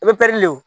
I bɛ wo